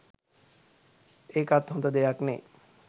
ඒකත් හොද දෙයක් නේ